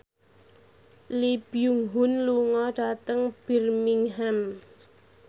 Lee Byung Hun lunga dhateng Birmingham